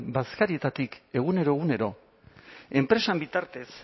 bazkarietatik egunero egunero enpresaren bitartez